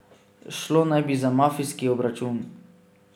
Šlo naj bi za mafijski obračun.